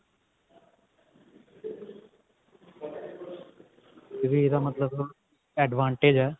ਇਹ ਵੀ ਇਹਦਾ ਮਤਲਬ advantage ਹੈ